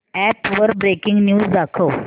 app वर breaking news दाखव